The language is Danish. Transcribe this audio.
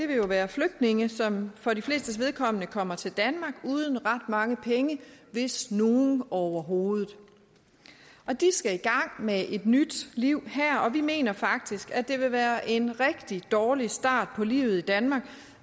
vil jo være flygtninge som for de flestes vedkommende kommer til danmark uden ret mange penge hvis nogen overhovedet de skal i gang med et nyt liv her og vi mener faktisk at det vil være en rigtig dårlig start på livet i danmark